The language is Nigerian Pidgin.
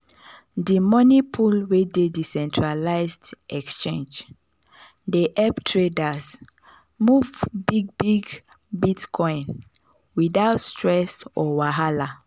the money pool wey dey decentralized exchange dey help traders move big big bitcoin without stress or wahala.